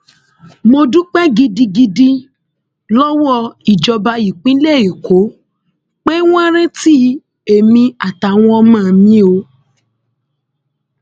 mo dúpẹ gidigidi lọwọ ìjọba ìpínlẹ èkó pé wọn rántí èmi àtàwọn ọmọ mi o